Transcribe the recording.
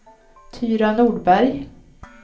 Tyra Nordberg